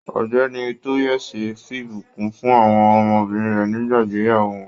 Ọ̀gbẹ́ni Toyese f'ibukun fún àwọn ọmọbìnrin rẹ nígbà ìgbéyàwó wọn.